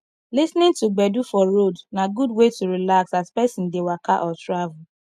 lis ten ing to gbedu for road na good way to relax as person dey waka or travel